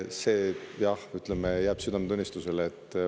See jah, ütleme, jääb nende südametunnistusele.